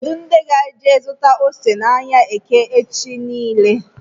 Kedụ ndị ga-eje zụta ose na áhiá eke echi niile??